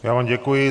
Já vám děkuji.